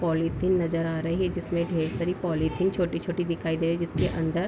polythene नजर आ रही है जिसमे ढेर सारी पोलीथिन छोटी छोटी-दिखाई दे रही जिसके अंदर --